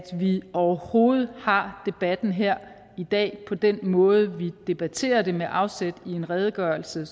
vi overhovedet har debatten her i dag på den måde vi debatterer det med afsæt i en redegørelse